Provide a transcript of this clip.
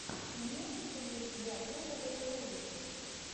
имеется ли у тебя топовые ролики